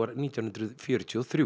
nítján hundruð fjörutíu og þrjú